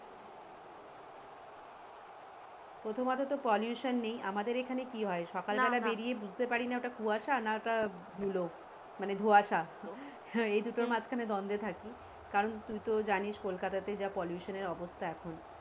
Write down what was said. প্রথমত তো pollution নেই আমাদের এখানে কি হয় সকাল বেলা বেরিয়ে বুঝতে পারি না ওটা কুয়াশা না ওটা ধুলো মানে ধোঁয়াশা এই দুটোর মাঝখানে দন্দে থাকি কারন তুই তো জানিস কোলকাতা যা pollution এর অবস্থা এখন।